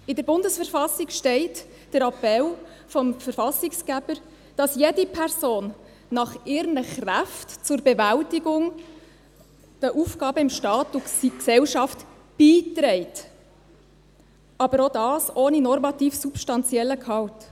In der Bundesverfassung der Schweizerischen Eidgenossenschaft (BV) steht der Appell des Verfassungsgebers, dass jede Person «nach ihren Kräften zur Bewältigung der Aufgaben in Staat und Gesellschaft» beiträgt – aber auch dies ohne normativ-substanziellen Gehalt.